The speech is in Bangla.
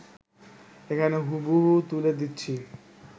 এখানে হুবহু তুলে দিচ্ছি